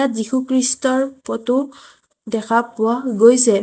যীশুখ্ৰীষ্টৰ ফটো দেখা পোৱা গৈছে।